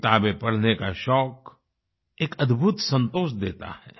किताबें पढ़ने का शौक एक अद्भुत संतोष देता है